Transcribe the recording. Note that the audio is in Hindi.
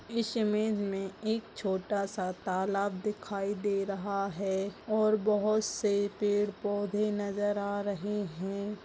इस इमेज मे हमे एक छोटा-सा तालाब दिखाई दे रहा है और बहुत से पेड़-पौधे नजर आ रहै है।